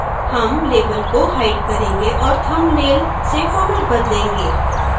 हम label को hide करेंगे औऱ thumbnail से format बदलेंगे